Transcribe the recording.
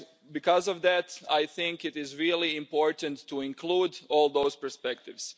Because of that, it is really important to include all those perspectives.